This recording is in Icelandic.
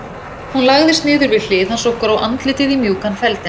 Hún lagðist niður við hlið hans og gróf andlitið í mjúkan feldinn.